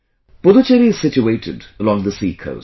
Puducherry is situated along the sea coast